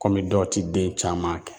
dɔw ti den caman kɛ.